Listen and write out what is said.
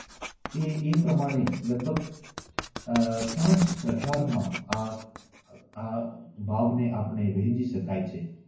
અને એ પ્રમાણે લગભગ આહ પાંચ પ્રકારમાં આ ભાગ આ ભાગોને આપણે વહેચી શકાય છે.